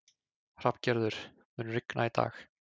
Hrafngerður, mun rigna í dag?